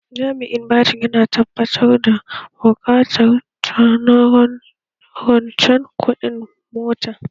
Jami'in bashin ya tabbatar da buƙatar ta na rancen kuɗin mota